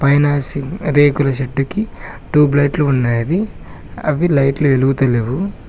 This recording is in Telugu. పైన రేకుల షెడ్డు కి ట్యూబ్ లైట్లు ఉన్నవి అవి లైట్లు వెలుగుతా లేవు.